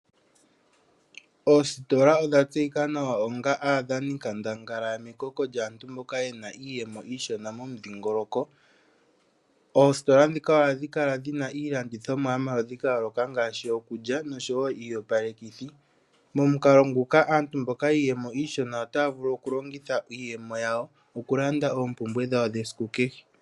Oositola odha tseyika nawa onga aadhaninkandangala mekoko lyaantu mboka yena iiyemo iishona momudhiingoloko. Oositola ndhika ohadhi kala dhina iilandithomwa yomaludhi ga yooloka, ngaashi iikulya nosho wo iiyopalekithi. Momukalo nguka antu mboka yiiyemo iishona otaya vulu oku longitha iiyemo yawo oku landa oompumbwe dhawo dhesiku kehe.